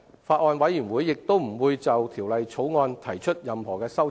法案委員會亦不會就《條例草案》提出任何修正案。